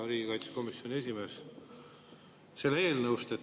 Hea riigikaitsekomisjoni esimees!